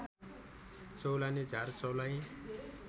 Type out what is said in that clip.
चौलाने झार चौलाइ